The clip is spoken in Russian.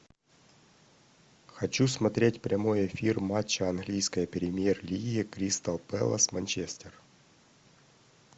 хочу смотреть прямой эфир матча английской премьер лиги кристал пэлас манчестер